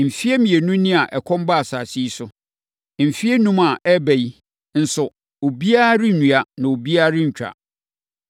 Mfeɛ mmienu ni a ɛkɔm baa asase yi so. Mfeɛ enum a ɛreba yi nso, obiara rennua, na obiara nso rentwa.